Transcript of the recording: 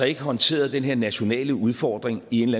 ikke har håndteret den her nationale udfordring i en